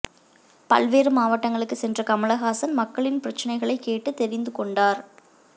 பல்வேறு மாவட்டங்களுக்கு சென்ற கமல்ஹாசன் மக்களின் பிரச்சினைகளை கேட்டுத் தெரிந்து கொண்டார்